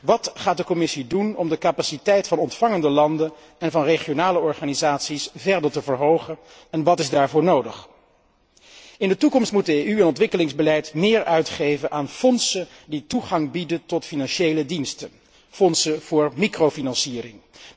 Wat gaat de Commissie doen om de capaciteit van ontvangende landen en van regionale organisaties verder te verhogen en wat is daarvoor nodig? In de toekomst moet het EU ontwikkelingsbeleid meer uitgeven aan fondsen die toegang bieden tot financiële diensten, fondsen voor microfinanciering.